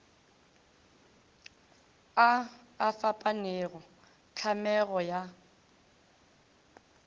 a a fapanego tlhamego ya